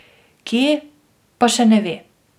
Kje, pa še ne ve.